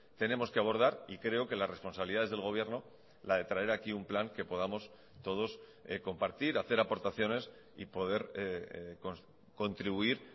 tenemos que abordar y creo que las responsabilidades del gobierno la de traer aquí un plan que podamos todos compartir hacer aportaciones y poder contribuir